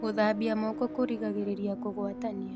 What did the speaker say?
Gũthambĩa moko kũrĩgagĩrĩrĩa kũgwatanĩa